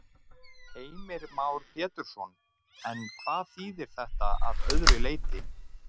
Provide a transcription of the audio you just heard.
Heimir Már Pétursson: En hvað þýðir þetta að öðru leyti?